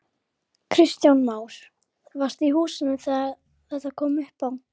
Heimir Már: Getur þú tekið undir það?